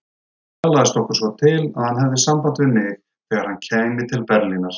Talaðist okkur svo til, að hann hefði samband við mig, þegar hann kæmi til Berlínar.